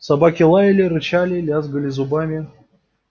собаки лаяли рычали лязгали зубами